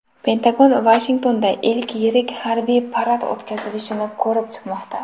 Pentagon Vashingtonda ilk yirik harbiy parad o‘tkazilishini ko‘rib chiqmoqda.